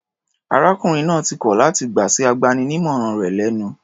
Arákùnrin náà ti kọl láti gbà sí agbaninímọ̀ràn rẹ̀ lẹ́nu.